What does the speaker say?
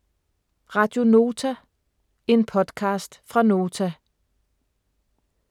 Radio Nota - En podcast fra Nota